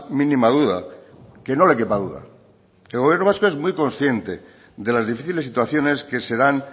mínima duda que no le quepa duda el gobierno vasco es muy consciente de las difíciles situaciones que se dan